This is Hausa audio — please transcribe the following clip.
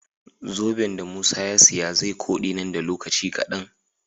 Zoben da musa ya siya ze kode nan da lokaci kadan